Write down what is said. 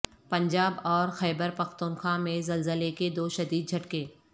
پنجاب اور خیبر پختونخوا میں زلزلے کے دو شدید جھٹکے